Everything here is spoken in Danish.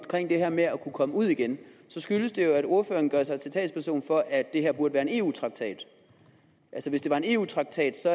det her med at kunne komme ud igen så skyldes det jo at ordføreren gør sig til talsperson for at det her burde være en eu traktat altså hvis det var en eu traktat så